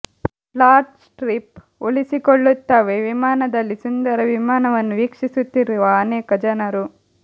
flat strip ಉಳಿಸಿಕೊಳ್ಳುತ್ತವೆ ವಿಮಾನದಲ್ಲಿ ಸುಂದರ ವಿಮಾನವನ್ನು ವೀಕ್ಷಿಸುತ್ತಿರುವ ಅನೇಕ ಜನರು